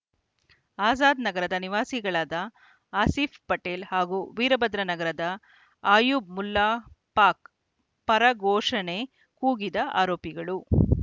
ಅಝಾದ್‌ ನಗರದ ನಿವಾಸಿಗಳಾದ ಆಸೀಫ್‌ ಪಟೇಲ್‌ ಹಾಗೂ ವೀರಭದ್ರ ನಗರದ ಅಯೂಬ್‌ ಮುಲ್ಲಾ ಪಾಕ್‌ ಪರ ಘೋಷಣೆ ಕೂಗಿದ ಆರೋಪಿಗಳು